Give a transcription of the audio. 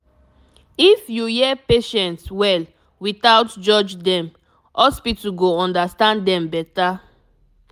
if you hear patients well without judge dem hospital go understand dem better